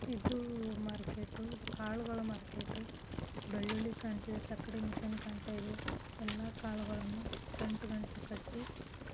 ಇದು ಮಾರ್ಕೆಟ್ ಇದು ಕಾಳುಗಳ ಮಾರ್ಕೆಟ್ ಬೆಳ್ಳುಳ್ಳಿ ಕಾಣ್ತಿದೆ ತಕ್ಕಡಿ ಮೆಷಿನ್ ಕಾಣ್ತಿದೆ ಎಲ್ಲ ಕಾಳುಗಳನ್ನು ಗಂಟುಗಂಟು ಕಟ್ಟಿ.